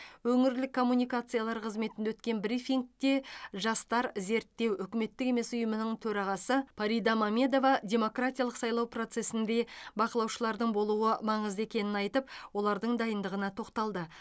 өңірлік коммуникациялар қызметінде өткен брифингте жастар зерттеу үкіметтік емес ұйымының төрағасы парида мамедова демократиялық сайлау процесінде бақылаушылардың болуы маңызды екенін айтып олардың дайындығына тоқталды